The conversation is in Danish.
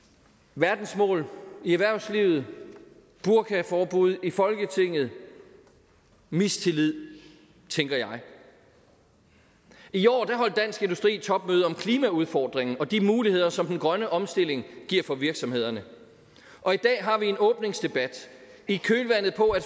verdensmål i erhvervslivet burkaforbud i folketinget mistillid tænker jeg i år holdt dansk industri topmøde om klimaudfordringen og de muligheder som den grønne omstilling giver for virksomhederne og i dag har vi en åbningsdebat i kølvandet på at